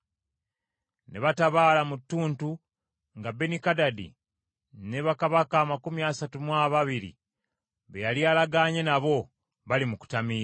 Ne batabaala mu ttuntu nga Benikadadi ne bakabaka amakumi asatu mu ababiri be yali alagaanye nabo bali mu kutamiira.